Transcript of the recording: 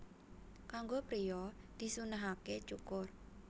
Kanggo priya disunnahaké cukur